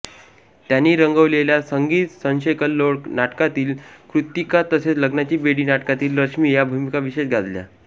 त्यांनी रंगवलेल्या संगीत संशयकल्लोळ नाटकातील कृत्तिका तसेच लग्नाची बेडी नाटकातील रश्मी या भूमिका विशेष गाजल्या